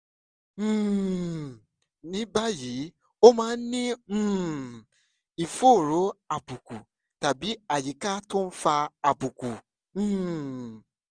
um ní báyìí o máa ń ní um ìfòòró àbùkù tàbí àyíká tó ń fa àbùkù um